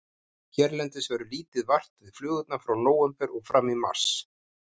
Hérlendis verður lítið vart við flugurnar frá nóvember og fram í mars.